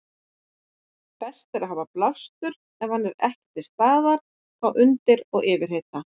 Best er að hafa blástur ef hann er ekki til staðar þá undir og yfirhita.